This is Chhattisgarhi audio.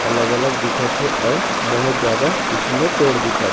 अलग-अलग दिखत हे अउ बहुत ज्यादा पिछू म पेड़ दिखत हे।